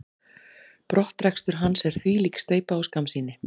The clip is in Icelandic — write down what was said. Brottrekstur hans er þvílík steypa og skammsýni.